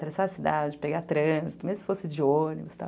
Traçar a cidade, pegar trânsito, mesmo se fosse de ônibus, tal.